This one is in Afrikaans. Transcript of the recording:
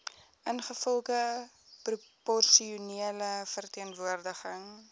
ingevolge proporsionele verteenwoordiging